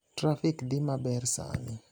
trafik dhi maber sani